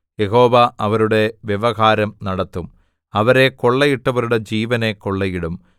യഹോവ അവരുടെ വ്യവഹാരം നടത്തും അവരെ കൊള്ളയിട്ടവരുടെ ജീവനെ കൊള്ളയിടും